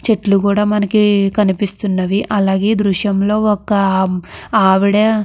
చెట్లు కూడా మనకి కనిపిస్తున్నవి. అలాగే ఈ దృశ్యం లో ఒక ఆవిడ --